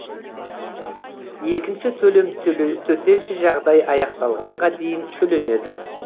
екінші төлем төтенше жағдай аяқталғанға дейін төленеді